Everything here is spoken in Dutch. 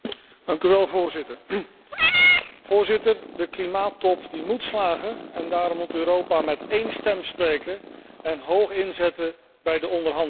Voorzitter, de Klimaattop moet slagen en daarom moet Europa met één stem spreken en hoog inzetten bij de onderhandelingen.